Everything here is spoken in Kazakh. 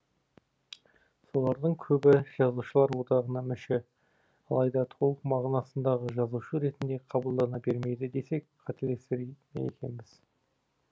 солардың көбі жазушылар одағына мүше алайда толық мағынасындағы жазушы ретінде қабылдана бермейді десек қателесер ме екенбіз